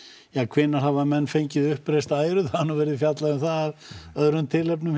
ja hvenær hafa menn fengið uppreist æru það verið fjallað um af öðrum tilefnum